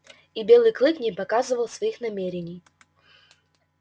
и белый клык не показывал своих намерений